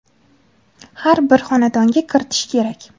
har bir xonadonga kiritish kerak.